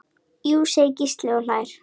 Jú segir Gísli og hlær.